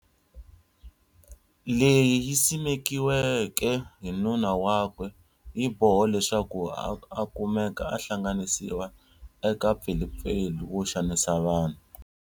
Leyi simekiweke hi nuna wakwe yibohe leswaku a a kumeka hlanganisiwa eka mpfilumpfilu wo xanaisa vanhu.